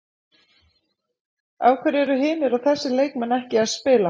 Af hverju eru hinir og þessir leikmenn ekki að spila?